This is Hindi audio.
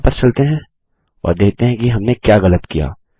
वापस चलते हैं और देखते हैं कि हमने क्या गलत किया